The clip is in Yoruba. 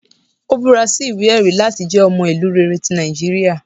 Ò búra sí iwe-ẹri lati jẹ ọmọ ilu rere ti Nijiriria